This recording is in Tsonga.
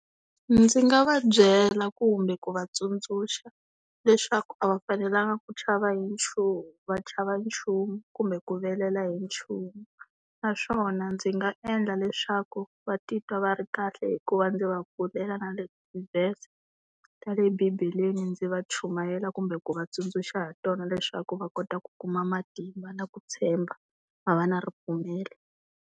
Ndzi nga va byela kumbe ku va tsundzuxa leswaku a va fanelanga ku chava hi nchumu va chava nchumu kumbe ku vilela hi nchumu. Naswona ndzi nga endla leswaku va titwa va ri kahle hi ku va ndzi va pfulela na le tivhese ta le bibeleni ndzi va chumayela kumbe ku va tsundzuxa hi tona leswaku va kota ku kuma matimba na ku tshemba va va na ripfumelo.